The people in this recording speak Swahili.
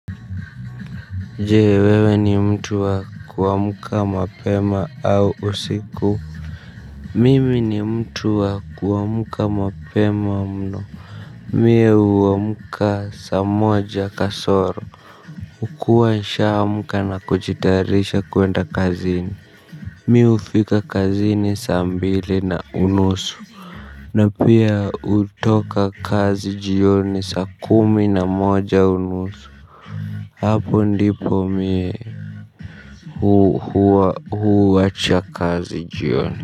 Je, wewe ni mtu wa kuamka mapema au usiku? Mimi ni mtu wa kuamka mapema mno. Mie huamka saa moja kasoro. Hukua nishaamka na kujitayarisha kwenda kazini. Mimi hufika kazini saa mbili na unusu. Na pia hutoka kazi jioni saa kumi na moja unusu. Hapo ndipo mimi huwacha kazi jioni.